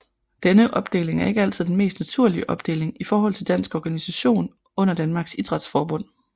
Denne opdeling er ikke altid den mest naturlige opdeling i forhold til dansk organisation under Danmarks Idrætsforbund